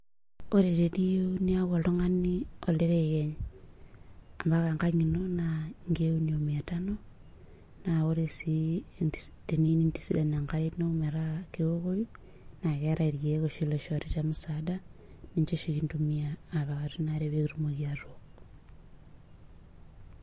ore teniyieu niyaku oltungani olterekeny ampaka enkang ino naa inkeek uni omiya tano, naa ore sii tiniyieu nintisidan enkare ino metaa kewokoi, naa keetae ilkeek oshi loishori temusaada, niche oshi kindumiya apik atua inare pee kitum atook.